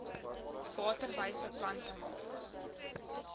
waterwyse plante maak